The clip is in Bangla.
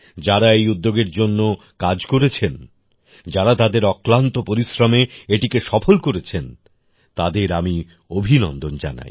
যারা এই উদ্যোগের জন্য কাজ করেছেন যারা তাদের অক্লান্ত পরিশ্রমে এটিকে সফল করেছেন তাঁদের আমি অভিনন্দন জানাই